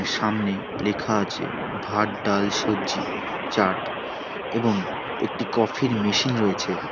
সামনে লেখা আছে ভাত ডাল সবজি চাট এবং একটি কফি -র মেশিন রয়েছে।